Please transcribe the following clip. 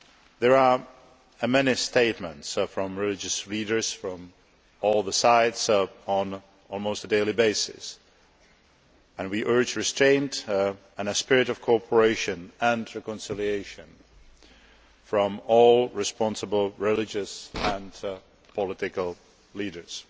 There are many statements from religious leaders, from all sides on an almost daily basis and we urge restraint and a spirit of cooperation and reconciliation from all responsible religious and political leaders.